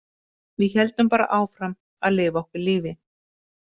Við héldum bara áfram að lifa okkar lífi.